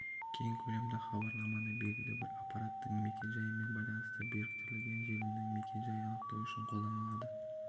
кең көлемді хабарламаны белгілі бір аппараттын мекен-жайымен байланысты біріктірілген желінің мекен-жайын анықтау үшін қолданылады